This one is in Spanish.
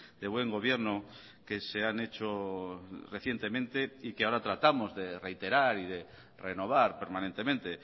de buen gobierno que se han hecho recientemente y que ahora tratamos de reiterar y de renovar permanentemente